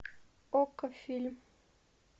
окко фильм